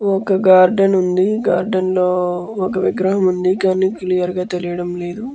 ఒక గార్డెన్ ఉంది. గార్డెన్ లో ఒక విగ్రహం ఉంది . కానీ క్లియర్ గా తెలియటం లేదు.